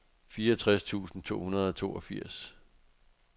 fireogtres tusind to hundrede og toogfirs